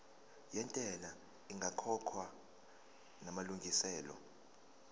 yentela ingakakhokhwa namalungiselo